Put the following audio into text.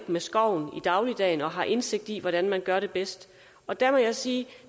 med skoven i dagligdagen og har indsigt i hvordan man gør det bedst og der må jeg sige